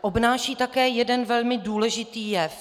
obnáší také jeden velmi důležitý jev.